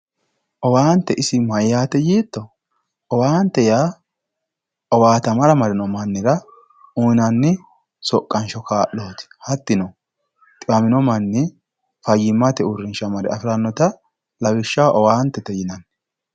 owaante isi mayyaate yiitto? owaante yaa owaatamara marino mannira uyiinanni soqqansho kaa'looti hattino xiwamino manni fayyimate uurrinsha mare afirannota lawishshaho owaantete yinanni